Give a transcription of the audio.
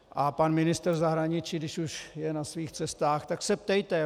A pan ministr zahraničí, když už je na svých cestách - tak se ptejte.